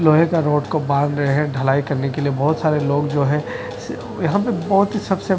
लोहे का रॉड को बांध रहे हैं ढलाई करने के लिए बहोत सारे लोग जो हैं स यहां पे बहोत ही सबसे--